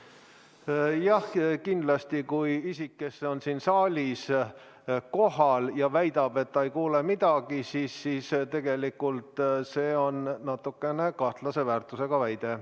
Jah, kindlasti, kui isik, kes on siin saalis kohal, väidab, et ta ei kuule midagi, siis tegelikult see on natukene kahtlase väärtusega väide.